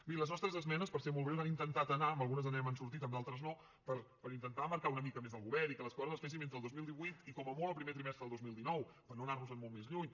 miri les nostres esmenes per ser molt breu han intentat anar en algunes ens n’hem sortit en d’altres no a intentar marcar una mica més el govern perquè les coses es fessin entre el dos mil divuit i com a molt el primer trimestre del dos mil dinou per no anar nos en molt més lluny